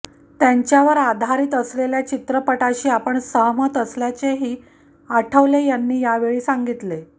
त्यांच्यावर आदारीत असलेल्या चित्रपटाशी आपण सहमत असल्याचेही आठवले यांनी या वेळी सांगीतले